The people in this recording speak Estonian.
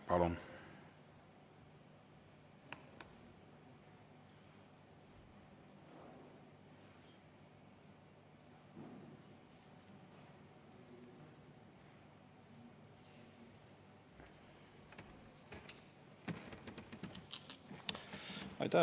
Palun!